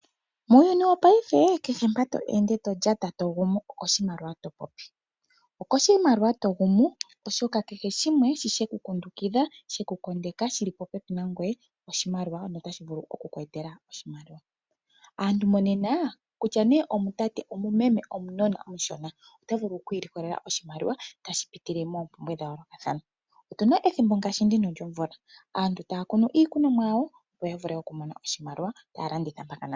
Muuyuni wopaife kehe mpa to ende, to lyata, to gumu okoshimaliwa to popi, okoshimaliwa to gumu, oshoka kehe shimwe sheku kondeka, shi li popepi nangoye oshimaliwa, ano otashi vulu oku ku etela oshimaliwa. Aantu monena kutya nee omutate, omumeme nenge omunona omushona, oto vulu oku ilikolela oshimaliwa tashi pitile miilonga ya yoolokathana. Otu na ethimbo ngaashi ndino lyomvula aantu taya kunu iikunomwa yawo, opo ya vule okumona oshimaliwa taya landitha mpaka naa mpeyaka.